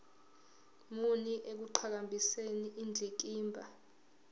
muni ekuqhakambiseni indikimba